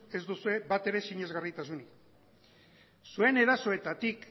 ez duzue batere sinesgarritasunik zuen erasoetatik